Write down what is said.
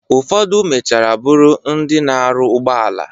Ụfodụ mechara bụrụ ndị na-aru ụgbọala